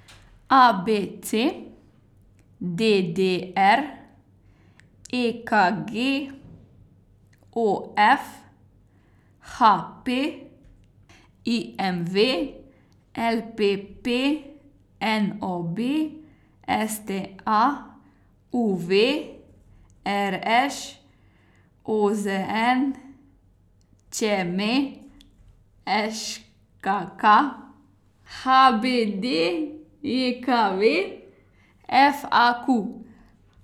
A B C; D D R; E K G; O F; H P; I M V; L P P; N O B; S T A; U V; R Š; O Z N; Č M; Š K K; H B D J K V; F A Q.